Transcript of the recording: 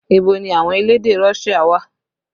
Ibo ni àwọn elédè Russia wà?